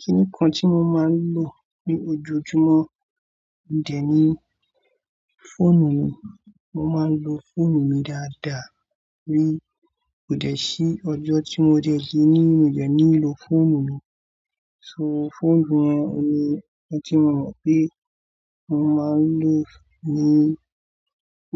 Kínìkan tí mo máa ń lò ní ojoojúmọ́, òun dẹ̀ ni fóònù mi, mo máa ń lo fóònù mi dáadáa, kò dẹ̀ sí ọjọ́ tí mo dẹ̀ kin lo fóònù mi, so fóònù yẹn ni ọ̀un tí mo mọ̀ pé mo máa ń lò ó ní